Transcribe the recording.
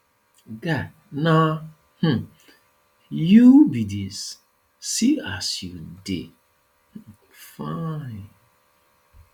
guy na um you be dis see as you just dey um fine